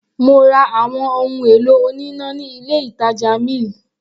Mo ra àwọn ohun èlò oníná ní ilé ìtàjà mill.